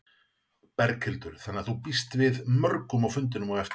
Berghildur: Þannig að þú býst við mörgum á fundinn á eftir?